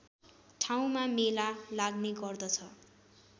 ठाउँमा मेला लाग्ने गर्दछ